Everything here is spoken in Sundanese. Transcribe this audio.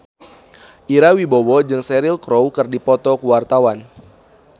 Ira Wibowo jeung Cheryl Crow keur dipoto ku wartawan